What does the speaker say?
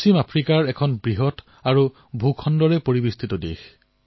মালী ভাৰতৰ পৰা দূৰৈতে পশ্চিম আফ্ৰিকাৰ এক বৃহৎ আৰু ভূমিৰে আগুৰা এখন দেশ